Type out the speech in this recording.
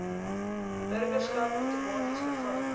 burgerskap outomaties verval